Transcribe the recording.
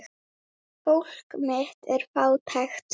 Fólk mitt er fátækt.